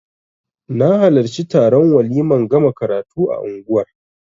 Na halarci taron waliman gama karatu a unguwar